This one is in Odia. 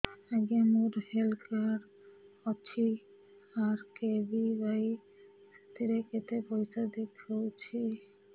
ଆଜ୍ଞା ମୋର ହେଲ୍ଥ କାର୍ଡ ଅଛି ଆର୍.କେ.ବି.ୱାଇ ସେଥିରେ କେତେ ପଇସା ଦେଖଉଛି